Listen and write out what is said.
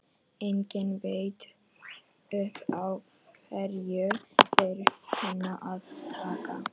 Enginn veit upp á hverju þeir kunna að taka!